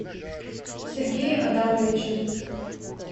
сергее адамовиче